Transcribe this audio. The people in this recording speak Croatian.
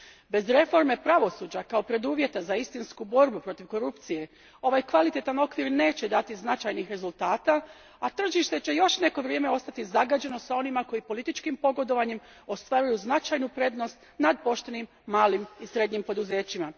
Bez reforme pravosuđa kao preduvjeta za istinsku borbu protiv korupcije ovaj kvalitetan okvir neće dati značajnih rezultata, a tržište će još neko vrijeme ostati zagađeno s onima koji političkim pogodovanjem ostvaruju značajnu prednost nad poštenim malim i srednjim poduzećima.